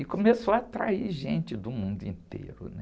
E começou a atrair gente do mundo inteiro, né?